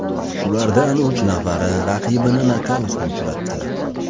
Shulardan uch nafari raqibini nokautga uchratdi.